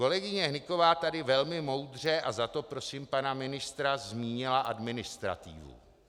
Kolegyně Hnyková tady velmi moudře, a za to prosím pana ministra, zmínila administrativu.